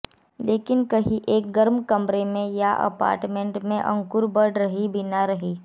लेकिन कहीं एक गर्म कमरे या अपार्टमेंट में अंकुर बढ़ रही बिना नहीं